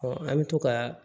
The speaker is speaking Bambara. an bɛ to ka